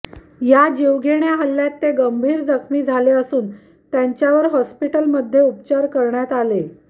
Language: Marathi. या जीवघेण्या हल्ल्यात ते गंभीर जखमी झाले असून त्यांच्यावर हॉस्पिटलमध्ये उपचार करण्यात आले